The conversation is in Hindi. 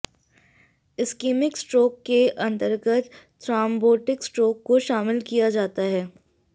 इस्कीमिक स्ट्रोक के अंतर्गत थ्रॉम्बोटिक स्ट्रोक को शामिल किया जाता है